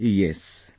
Yes...